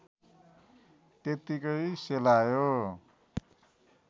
त्यत्तिकै सेलायो